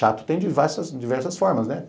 Chato tem diversas diversas formas, né?